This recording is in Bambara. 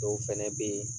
Dɔw fɛnɛ be yen